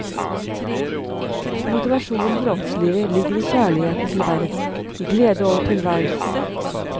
Motivasjonen for åndslivet ligger i kjærlighet til verden, i glede over tilværelsen.